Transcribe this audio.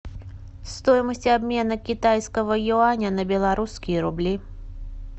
стоимость обмена китайского юаня на белорусские рубли